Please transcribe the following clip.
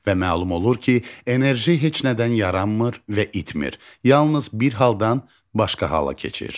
Və məlum olur ki, enerji heç nədən yaranmır və itmir, yalnız bir haldan başqa hala keçir.